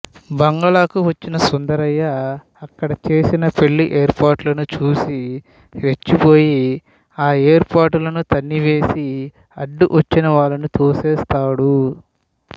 బంగాళాకు వచ్చిన సుందరయ్య అక్కడ చేస్తున్న పెళ్ళి ఏర్పాట్లను చూసి రెచ్చిపోయి ఆ ఏర్పాట్లను తన్నివేసి అడ్డొచ్చిన వాళ్ళను తోసివేస్తాడు